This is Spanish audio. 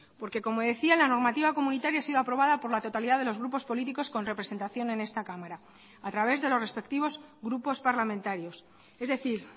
porque como decía la normativa comunitaria ha sido aprobada por la totalidad de los grupos políticos con representación en esta cámara a través de los respectivos grupos parlamentarios es decir